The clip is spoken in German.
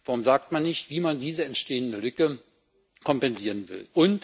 Warum sagt man nicht, wie man diese entstehende Lücke kompensieren will?